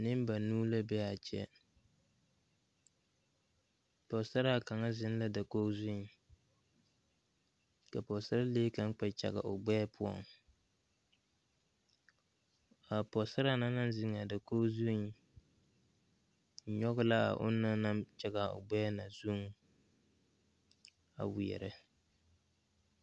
Neŋbanuu la bee aa kyɛ pɔgesaraa kaŋa zeŋ la dakoge zuiŋ ka pɔɔsarelee kaŋ kpɛ kyage o gbɛɛ poɔŋ kaa pɔɔsaraa na naŋ zeŋaa dakoge zuiŋ nyoge laa onɔŋ naŋ kyagaa o gbɛɛŋ zuŋ a weɛɛrɛ.